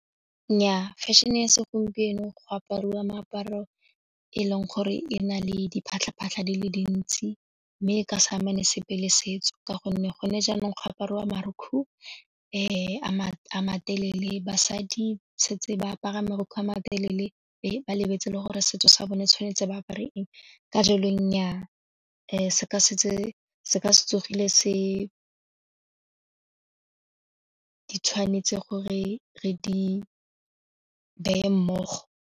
Nnyaa, fashion-e ya segompieno go apariwa meaparo e leng gore e na le diphatlha-phatlha di le dintsi mme e ka sa amene sepe le setso ka gonne gone jaanong go apariwa marukgu a matelele basadi setse ba apara marukgwe a matelele ba lebetse gore setso sa bone tshwanetse ba apare eng ka jalo nnyaa se ka se tsogile se Di tshwanetse gore re di beye mmogo.